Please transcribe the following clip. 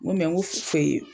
Ŋo ŋo